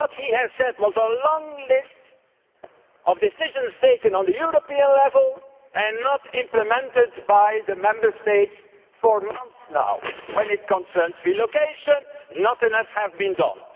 What he said was a long list of decisions taken at European level have not been implemented by the Member States for months now. When it concerns relocation, not enough has been done.